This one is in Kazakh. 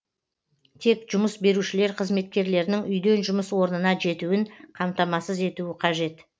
тек жұмыс берушілер қызметкерлерінің үйден жұмыс орнына жетуін қамтамасыз етуі қажет